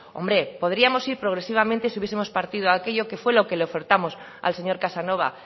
hombre podríamos ir progresivamente si hubiesemos partido de aquello que fue lo que le ofertamos al señor casanova